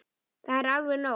Það er alveg nóg.